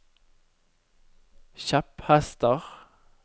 kjepphester